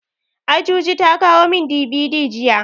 Ajuji ta kawo min DVD jiya.